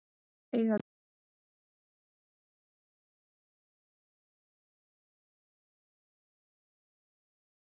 Eiga Víkingur Ólafsvík séns í Íslandsmeistarana á þeirra eigin heimavelli?